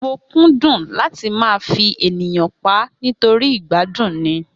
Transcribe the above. Mo kúndùn láti máa fi ènìyàn páá nítorí ìgbádùn ni